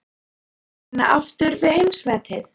Á að reyna aftur við heimsmetið?